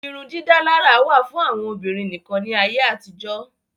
Irun dídálárà wà fún àwọn Obìnrin nìkan ní ayé àtijó